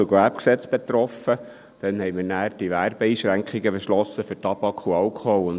Anschliessend beschlossen wir damals die Werbeeinschränkungen für Tabak und Alkohol.